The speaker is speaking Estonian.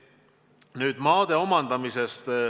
Nüüd, maade omandamisest.